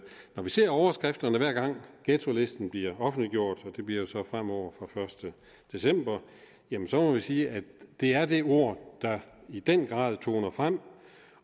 vi ser overskrifterne hver gang ghettolisten bliver offentliggjort og det bliver jo så fremover fra den første december jamen så må vi sige at det er det ord der i den grad toner frem